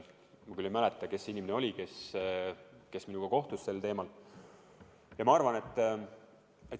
Ma küll ei mäleta, kes see inimene oli, kes minuga sel teemal rääkis.